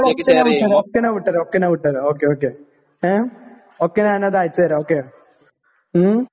ഉടനെ ഞാൻ വിട്ടു തരാം. ഒക്കെ ഞാൻ വിട്ടുതരാം. ഒക്കെ ഞാൻ വിട്ടുതരാം. ഒക്കെ ഞാൻ അത് അയച്ചു തരാം. ഓക്കേ. ഊം